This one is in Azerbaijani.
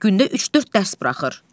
Gündə üç-dörd dərs buraxır.